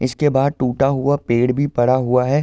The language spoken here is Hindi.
इसके बाहर टुटा हुआ पेड़ भी पड़ा हुआ है।